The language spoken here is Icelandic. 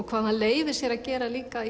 hvað hann leyfir sér að gera líka